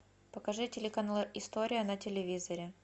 покажи телеканал история на телевизоре